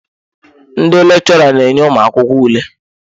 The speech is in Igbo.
Ndị lechora na enye ụmụakwụkwọ ule.